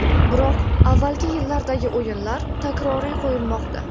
Biroq avvalgi yillardagi o‘yinlar takroriy qo‘yilmoqda.